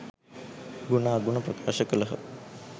ගුණ අගුණ ප්‍රකාශ කළ හ.